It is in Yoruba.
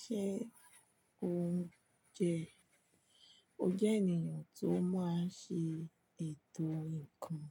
Ṣé o jẹ́, o jẹ́ ènìyàn tó máa ń ṣe ètò nǹkan?